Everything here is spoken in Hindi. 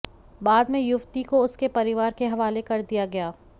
बाद में युवती को उसके परिवार के हवाले कर दिया गया